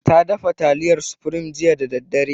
Ta dafa taliyar supreme jiya da daddare.